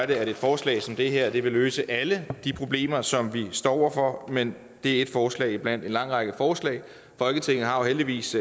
det at et forslag som det her vil løse alle de problemer som vi står over for men det er ét forslag blandt en lang række forslag folketing har jo heldigvis